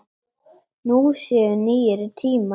Nú séu nýir tímar.